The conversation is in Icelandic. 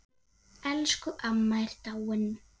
Elsku amma er dáinn.